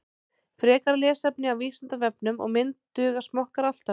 Frekara lesefni á Vísindavefnum og mynd Duga smokkar alltaf?